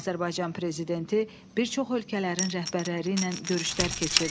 Azərbaycan prezidenti bir çox ölkələrin rəhbərləri ilə görüşlər keçirdi.